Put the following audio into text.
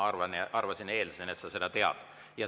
Ma arvasin ja eeldasin, et sa seda tead.